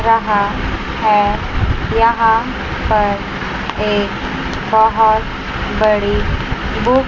रहा है यहां पर एक बहोत बड़ी बुक --